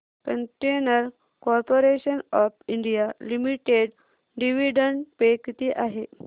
container corporation of India limited dividend pay किती आहे